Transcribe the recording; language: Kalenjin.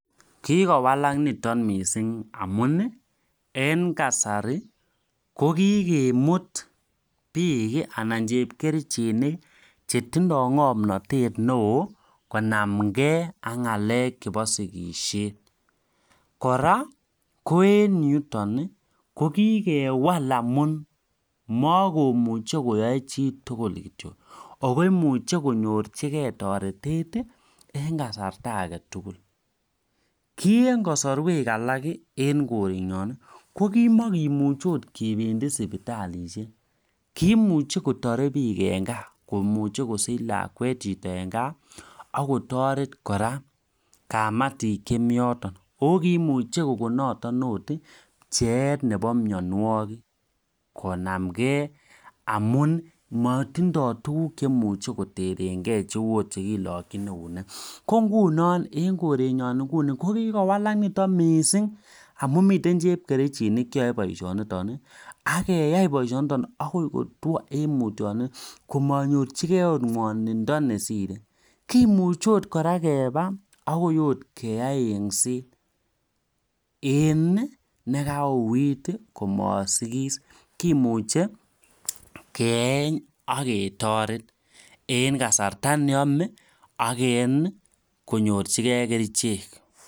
Kikowalak niton mising amun en kasari kokikemut bik anan ko chepkerchinik alak konamgei ak ng'alek chebo sikisiet kora ko en yuton kamakoyaei chitugul ako imuch konyorchikei toretet eng kasarta age tugul amu eng Keny kamekenependi akot sipitali kimuchi kotarei bik eng Kaa ako sich bik lakwet eng Kaa akotoret kora kametit Nebo eng yotok akotoretkei amuu matinye tukuk chekiboishen en sikisiet kou chekilokjin akot en eunek ako mi chepkerchinik cheyai boisyoni mising ak imuche pkeyai engset aketaret